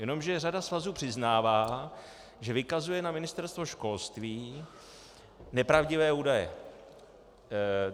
Jenomže řada svazů přiznává, že vykazuje na Ministerstvo školství nepravdivé údaje.